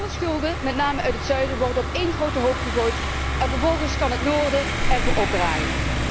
Alle schulden, met name uit het zuiden, worden op één grote hoop gegooid en vervolgens kan het noorden ervoor opdraaien.